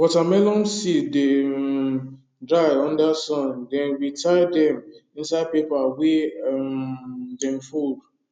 watermelon seed dey um dry under sun then we tie dem inside paper wey um dem fold